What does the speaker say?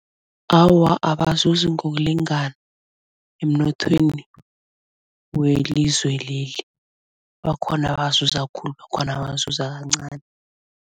Awa abazuzi ngokulingana emnothweni welizwe leli. Bakhona abazuza khulu bakhona abazuza kancani.